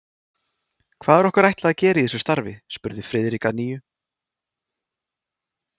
Hvað er okkur ætlað að gera í þessu starfi? spurði Friðrik að nýju.